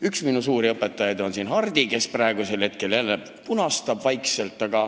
Üks minu suuri õpetajaid on siin istuv Hardi, kes praegu vaikselt punastab.